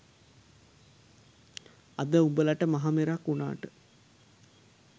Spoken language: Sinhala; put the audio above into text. අද උඹලට මහ මෙරක් වුනාට